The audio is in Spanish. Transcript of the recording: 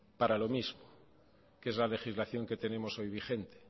para lo mismo que es la legislación que tenemos hoy vigente